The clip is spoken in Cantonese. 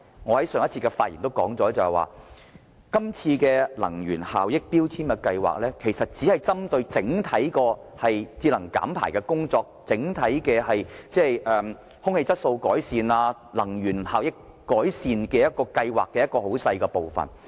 我在上一次發言時說過，能源效益標籤計劃其實只佔整體節能減排、改善空氣質素和改善能源效益計劃中很小的部分。